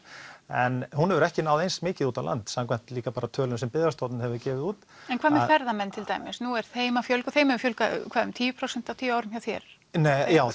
en hún hefur ekki náð eins mikið út á land samkvæmt líka bara tölum sem Byggðastofnun hefur gefið út en hvað með ferðamenn til dæmis nú er þeim að fjölga þeim hefur fjölgað hvað um tíu prósent á tíu árum hjá þér nei já